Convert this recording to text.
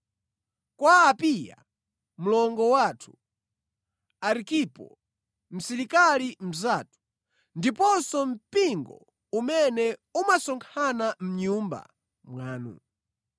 Kwa Apiya mlongo wathu, Arkipo msilikali mnzathu, ndiponso mpingo umene umasonkhana mʼnyumba mwanu.